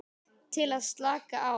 Til að slaka á.